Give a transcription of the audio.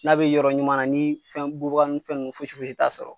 N'a be yɔrɔ ɲuman na, ni fɛn bubaganin fɛn nunnu fosi fosi t'a sɔrɔ